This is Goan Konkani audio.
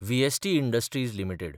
VST Industries limited